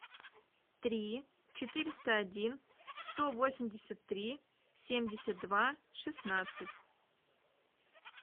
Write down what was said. три четыреста один сто восемьдесят три семьдесят два шестнадцать